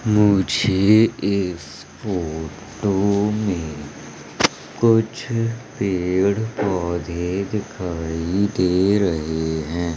मुझे इस फोटो में कुछ पेड़ पौधे दिखाई दे रहे हैं।